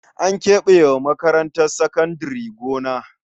An keɓe wa makarantar sakandare gona.